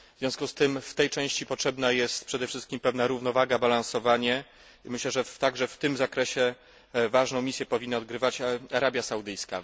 W związku z tym, w tej części potrzebna jest przede wszystkim pewna równowaga, balansowanie i myślę, że także w tym zakresie ważną misję powinna odgrywać Arabia Saudyjska.